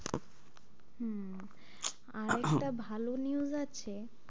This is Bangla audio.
আর একটা ভালো news আছে,